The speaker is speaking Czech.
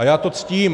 A já to ctím.